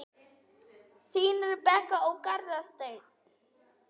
Þín, Rebekka og Garðar Steinn.